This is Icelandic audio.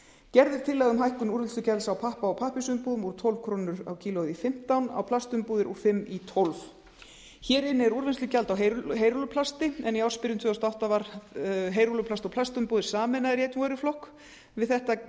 gerð er tillaga um hækkun úrvinnslugjalds á pappa og pappírsumbúðum úr tólf krónu kílógrömmum á plastumbúðir úr fimm krónur kílógrömm hér inni er úrvinnslugjald á heyrúlluplasti en í ársbyrjun tvö þúsund og átta var heyrúlluplast og plastumbúðir sameinaðar í einn vöruflokk við þetta lækkaði